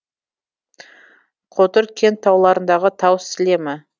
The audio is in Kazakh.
қотыр кент тауларындағы тау сілемі